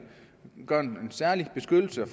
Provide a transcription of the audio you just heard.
gøre en særlig beskyttelse